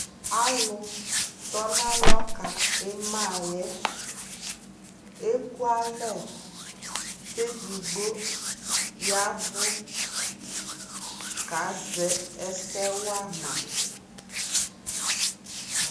alʋ ɔbʋ lakɔ nʋ ʋti kikaa di aɣa ka gbɔ sika, ɛdini yanʋ ʋdzɔli, ɛdibi yanʋ ivi bʋakʋ ɛvlɛ li